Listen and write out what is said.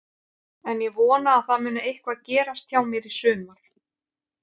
En ég vona að það muni eitthvað gerast hjá mér í sumar.